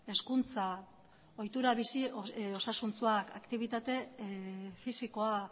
hezkuntza ohitura bizi osasuntsua aktibitate fisikoa